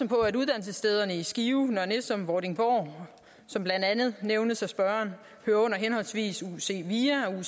på at uddannelsesstederne i skive nørre nissum og vordingborg som blandt andet nævnt af spørgeren hører under henholdsvis uc via og